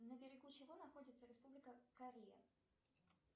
на берегу чего находится республика корея